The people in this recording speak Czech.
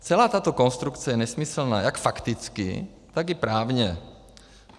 Celá tato konstrukce je nesmyslná jak fakticky, tak i právně.